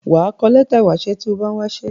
Wà á kọ lẹ́tà ìwásẹ́ tí o bá ń wásẹ́.